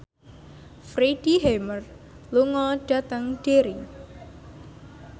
Freddie Highmore lunga dhateng Derry